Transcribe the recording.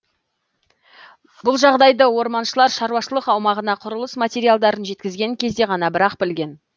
бұл жағдайды орманшылар шаруашылық аумағына құрылыс материалдарын жеткізген кезде ғана бірақ білген